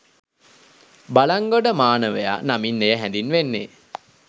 බළන්ගොඩ මානවයා නමින් එය හැඳින්වෙන්නේ